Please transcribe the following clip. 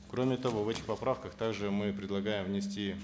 кроме того в этих поправках также мы предлагаем внести